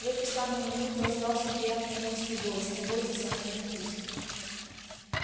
в эту самую минуту раздался приятный женский голос не бойтесь она не укусит